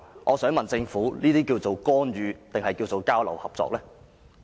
我想問政府，對於這些情況，應該稱為干預，還是交流合作？